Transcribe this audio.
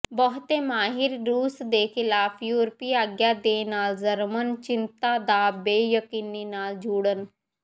ਬਹੁਤੇ ਮਾਹਿਰ ਰੂਸ ਦੇ ਖਿਲਾਫ ਯੂਰਪੀ ਆਗਿਆ ਦੇ ਨਾਲ ਜਰਮਨ ਚਿੰਤਾ ਦਾ ਬੇਯਕੀਨੀ ਨਾਲ ਜੁੜਨ